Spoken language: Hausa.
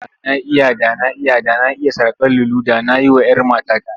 Da na iya, da na iya, da na iya saƙar lulu da na yi wa'yar matata.